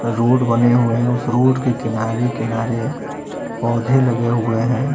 Road बने हुए है उस रोड के किनारे किनारे पौधे लगे हुए हैं।